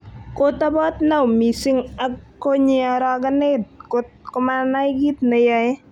Kotoboot Naum mising ak konyi arokenet kot ko manai ne yaei.